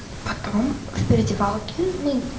потом в переодевалке мы